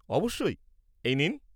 অবশ্যই, এই নিন।